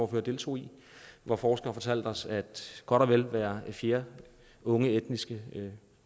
deltog i hvor forskere fortalte os at godt og vel hver fjerde unge etniske